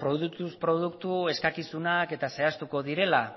produktuz produktu eskakizunak eta zehaztuko direla